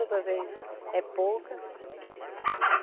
Outras vezes é pouca.